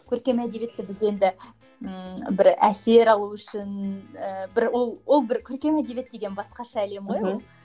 көркем әдебиетті біз енді ммм бір әсер алу үшін ііі бір ол ол бір көркем әдебиет деген басқаша әлем ғой ол мхм